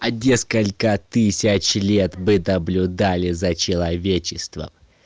а несколько тысяч лет мы наблюдали за человечеством